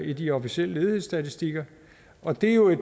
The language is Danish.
i de officielle ledighedsstatistikker og det er jo